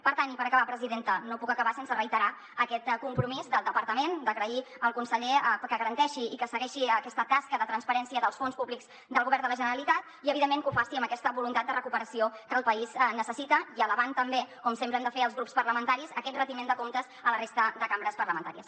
per tant i per acabar presidenta no puc acabar sense reiterar aquest compro·mís del departament d’agrair al conseller que garanteixi i que segueixi aquesta tasca de transparència dels fons públics del govern de la generalitat i evidentment que ho faci amb aquesta voluntat de recuperació que el país necessita i elevant també com sempre hem de fer els grups parlamentaris aquest retiment de comptes a la res·ta de cambres parlamentàries